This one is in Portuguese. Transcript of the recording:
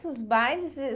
Esses bailes